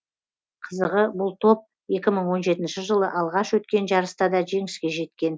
қызығы бұл топ екі мың он жетінші жылы алғаш өткен жарыста да жеңіске жеткен